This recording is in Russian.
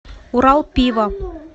урал пиво